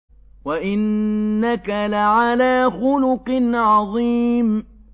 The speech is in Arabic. وَإِنَّكَ لَعَلَىٰ خُلُقٍ عَظِيمٍ